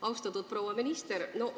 Austatud proua minister!